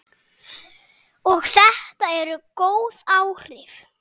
Og þetta eru góð áhrif.